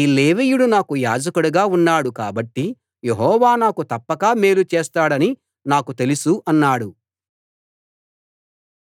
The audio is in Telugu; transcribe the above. ఈ లేవీయుడు నాకు యాజకుడుగా ఉన్నాడు కాబట్టి యెహోవా నాకు తప్పక మేలు చేస్తాడని నాకు తెలుసు అన్నాడు